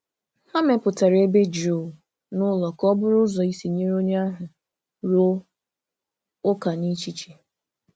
Ha mepụtara ebe jụụ n’ụlọ ka ọ bụrụ ụzọ isi nyere onye ahụ rụọ ụka n’echiche.